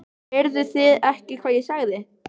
Heyrðu þið ekki hvað ég sagði?